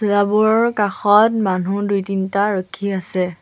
বোৰৰ কাষত মানুহ দুই-তিনিটা ৰখি আছে।